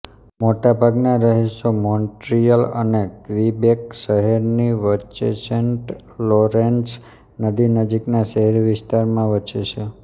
મોટા ભાગના રહીશો મોન્ટ્રીયલ અને ક્વિબેક શહેરની વચ્ચેસેન્ટ લોરેન્સ નદી નજીકના શહેરી વિસ્તારોમાં વસે છે